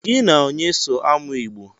Gi na onye so amụ Igbo?